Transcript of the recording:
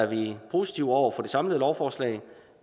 vi er positive over for det samlede lovforslag